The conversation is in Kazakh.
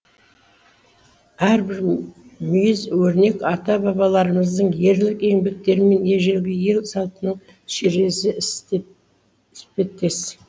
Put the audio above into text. әрбір мүйіз өрнек ата бабаларымыздың ерлік еңбектері мен ежелгі ел салтының шежіресі іспеттес